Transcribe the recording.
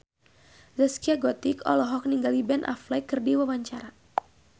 Zaskia Gotik olohok ningali Ben Affleck keur diwawancara